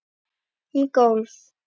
Um golf